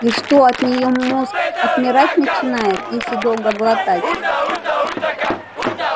и что от нее мозг отмирать начинает если долго глотать